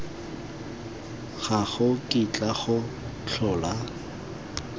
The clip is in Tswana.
ga go kitla go tlhola